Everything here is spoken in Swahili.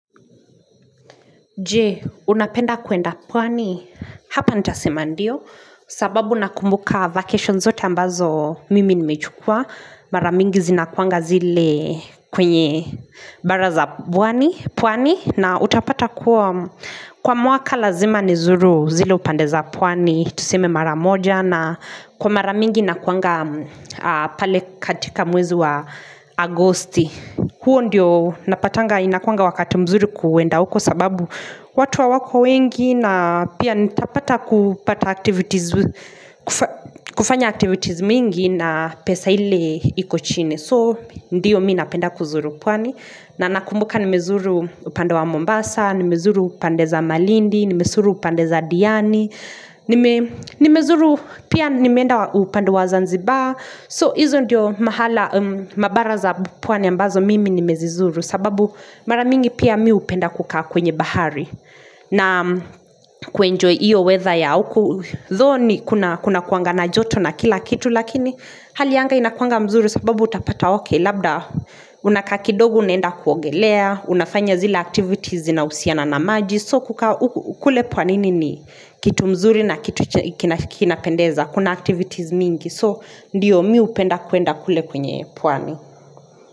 Je, unapenda kuenda pwani? Hapa nita sema ndio. Sababu nakumbuka vacations zote ambazo mimi nimechukua. Maramingi zinakuanga zile kwenye baraza pwani. Na utapata kwa mwaka lazima nizuru zile upandeza pwani. Tuseme maramoja na kwa maramingi nakuanga pale katika mwezu wa agosti. Agosti, huo ndiyo napatanga inakuanga wakati mzuri kuenda uko sababu watu ha wako wengi na pia nitapata kupata activities, kufanya activities mingi na pesa ile iko chini. So ndiyo mii napenda kuzuru pwani na nakumbuka nimezuru upande wa Mombasa Nimezuru upande za Malindi Nimezuru upande za Diani Nimezuru pia nimeenda upande wa Zanzibar So hizo ndiyo mahala mabaraza pwani ambazo mimi nimezizuru sababu maramingi pia mii upenda kukaa kwenye bahari na kuenjoy iyo weather ya uku Tho ni kuna kuanga na joto na kila kitu Lakini hali yanga inakuanga mzuri sababu utapata oke Labda unaka kidogu unenda kuongelea Unafanya zila activities zina usiana na maji So kukua ukule puanini ni kitu mzuri na kitu kinapendeza Kuna activities mingi So ndiyo mi upenda kuenda kule kwenye puani.